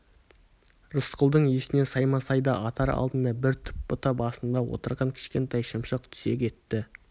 рысқұлдың есіне саймасайды атар алдында бір түп бұта басында отырған кішкентай шымшық түсе кетті